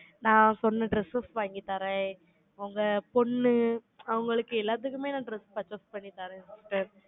நான் சொன்ன dress, வாங்கி தரேன். உங்க பொண்ணு, அவங்களுக்கு எல்லாத்துக்குமே, நான் dress purchase பண்ணி